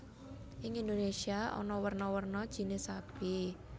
Ing Indonesia ana werna werna jinis sapi